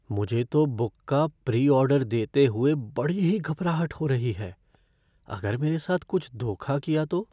मुझे तो बुक का प्री ऑर्डर देते हुए बड़ी ही घबराहट हो रही है, अगर मेरे साथ कुछ धोखा किया तो?